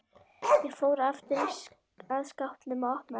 Hann fór aftur að skápnum og opnaði hann.